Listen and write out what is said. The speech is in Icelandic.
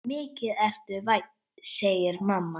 Mikið ertu vænn, segir mamma.